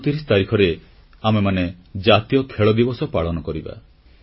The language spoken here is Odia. ଅଗଷ୍ଟ 29 ତାରିଖରେ ଆମେମାନେ ଜାତୀୟ ଖେଳ ଦିବସ ପାଳନ କରିବା